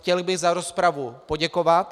Chtěl bych za rozpravu poděkovat.